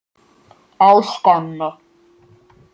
á Skáni.